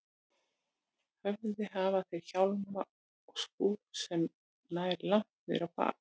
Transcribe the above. höfði hafa þeir hjálma og skúf sem nær langt niður á bak.